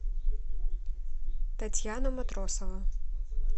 татьяна матросова